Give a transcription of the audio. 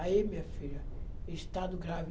Aí, minha filha, estado grave.